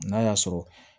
N'a y'a sɔrɔ